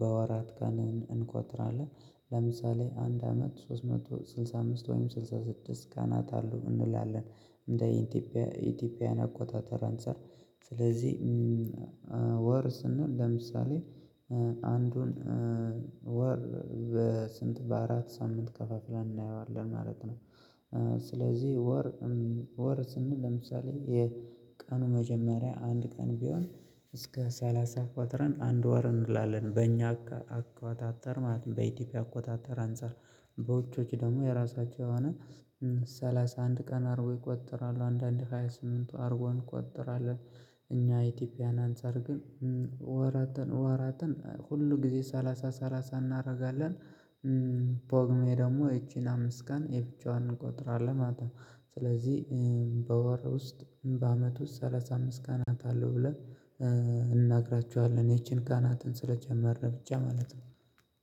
በወራት ጋር እንቆጥራለን ለምሳሌ አንድ አመት ሶስት መቶ ስልሳ። አምስት ላለን እንደ ኢትዮጵያ ኢትዮጵያን አቆጣጠር አንፃር። ስለዚህ ወር ስንል ለምሳሌ አንዱን ወር በስንት በአራት ሳምንት ከፋፍለን እናየዋለን ማለት ነው። ስለዚህ ወር ወር ስንል ለምሳሌ የቀኑ መጀመሪያ አንድ ቀን ቢሆን እስከ ሰላሳ ቆጥረን አንድ ወር እንላለን። በእኛ አቆጣጠር ማለት ነው በኢትዮጵያ አቆጣጠር አንፃር በውጪዎቹ ደግሞ የራሳቸው የሆነ ሰላሳ አንድ ቀን አርጎ ይቆጥራል። አንዳንድ ሃያ ስምንቱ አርጎ እንቆጥራለን እኛ ኢትዮጵያን አንፃር ግን ወራትን ወራትን ሁሉ ጊዜ ሰላሳ ሰላሳ እናረጋለን። ቦግሜ ደግሞ ይቺን አምስት ቀን የብቻዋን እንቆጥራለን። ማታ ስለዚህ በወር ውስጥ በአመቱ ሰላሳ አምስት ቀናት አሉ ብለን እናግራችኋለን። ይቺን ቀናትን ስለጨመርን ብቻ ማለት ነው።